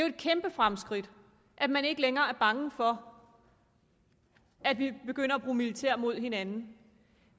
et kæmpe fremskridt at man ikke længere er bange for at vi begynder at bruge militær imod hinanden